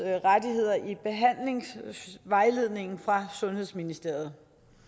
rettigheder i behandlingsvejledningen fra sundhedsministeriet